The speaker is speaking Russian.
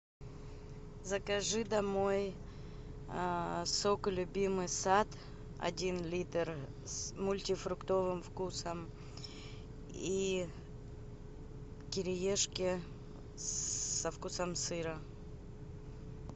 закажи домой сок любимый сад один литр с мультифруктовым вкусом и кириешки со вкусом сыра